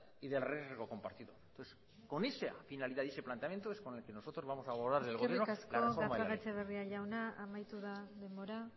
y del riesgo compartido con esa finalidad y ese planteamiento es con el que nosotros vamos a abordar eskerrik asko gatxagaetxebarria jauna amaitu da denbora